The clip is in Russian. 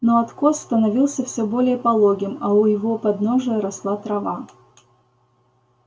но откос становился всё более пологим а у его подножия росла трава